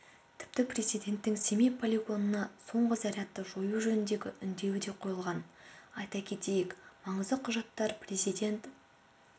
тіпті президенттің семей полигонында соңғы зарядты жою жөніндегі үндеуі де қойылған айта кетейік маңызды құжаттар президент